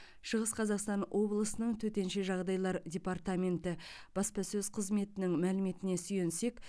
шығыс қазақстан облысының төтенше жағдайлар департаменті баспасөз қызметінің мәліметіне сүйенсек